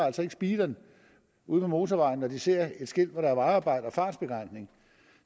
speederen ude på motorvejen når de ser et skilt om at der er vejarbejde og fartbegrænsning